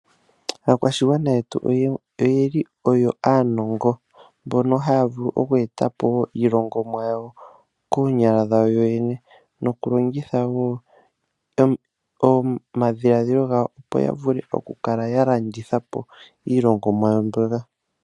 Aakwashigwana yetu oyo aanongo mbono haya vulu oku eta po iilongomwa yawo koonyala dhawo yoyene nokulongitha wo omadhiladhilo gawo, opo ya kale ya landitha po iilongomwa yawo mbyoka.